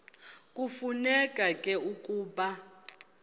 kufuneka ke ukuba